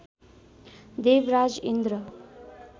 Devraj Indra